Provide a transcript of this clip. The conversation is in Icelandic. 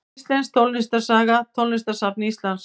Íslensk tónlistarsaga Tónlistarsafn Íslands.